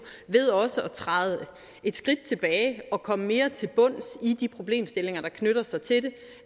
ved også at træde et skridt tilbage og komme mere til bunds i de problemstillinger der knytter sig til det